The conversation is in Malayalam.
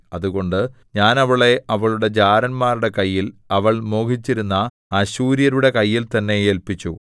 അതുകൊണ്ട് ഞാൻ അവളെ അവളുടെ ജാരന്മാരുടെ കയ്യിൽ അവൾ മോഹിച്ചിരുന്ന അശ്ശൂര്യരുടെ കയ്യിൽ തന്നെ ഏല്പിച്ചു